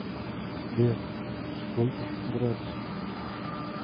сбер сколько градусов